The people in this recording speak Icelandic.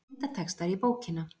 Myndatextar í bókina